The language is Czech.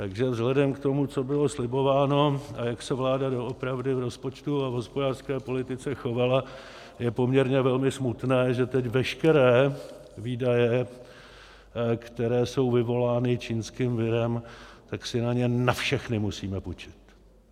Takže vzhledem k tomu, co bylo slibováno a jak se vláda doopravdy v rozpočtu a v hospodářské politice chovala, je poměrně velmi smutné, že teď veškeré výdaje, které jsou vyvolány čínským virem, tak si na ně na všechny musíme půjčit.